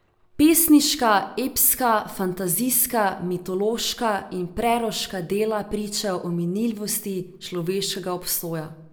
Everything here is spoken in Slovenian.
Pesniška, epska, fantazijska, mitološka in preroška dela pričajo o minljivosti človeškega obstoja.